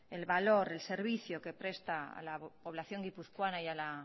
el valor el servicio que presta a la población guipuzcoana y al